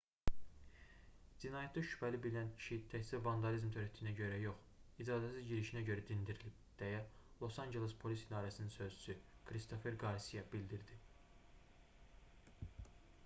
"cinayətdə şübhəli bilinən kişi təkcə vandalizm törətdiyinə görə yox icazəsiz girişinə görə dindirilib deyə los anceles polis i̇darəsinin sözçüsü kristofer qarsiya bildirdi